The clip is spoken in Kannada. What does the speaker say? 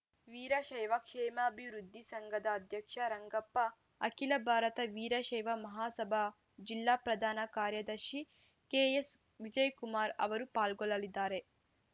ವೀರಶೈವ ಕ್ಷೇಮಾಭಿವೃದ್ಧಿ ಸಂಘದ ಅಧ್ಯಕ್ಷ ರಂಗಪ್ಪ ಅಖಿಲ ಭಾರತ ವೀರಶೈವ ಮಹಾಸಭಾ ಜಿಲ್ಲಾ ಪ್ರಧಾನ ಕಾರ್ಯದರ್ಶಿ ಕೆಎಸ್‌ವಿಜಯಕುಮಾರ್‌ ಅವರು ಪಾಲ್ಗೊಳ್ಳಲಿದ್ದಾರೆ